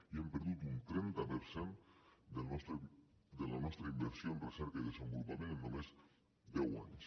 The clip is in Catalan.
i hem perdut un trenta per cent de la nostra inversió en recerca i desenvolupament en només deu anys